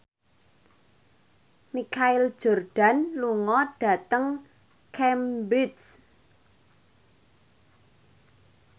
Michael Jordan lunga dhateng Cambridge